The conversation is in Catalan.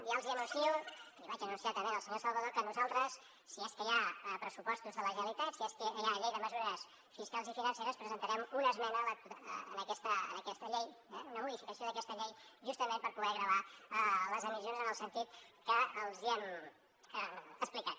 ja els anuncio l’hi vaig anunciar també al senyor salvadó que nosaltres si és que hi ha pressupostos de la generalitat si és que hi ha llei de mesures fiscals i financeres presentarem una esmena a aquesta llei una modificació d’aquesta llei justament per poder gravar les emissions en el sentit que els hem explicat